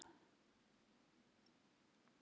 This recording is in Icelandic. Er það mjög ólíklegt?